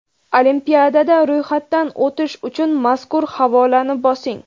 Olimpiadada ro‘yxatdan o‘tish uchun mazkur havolani bosing.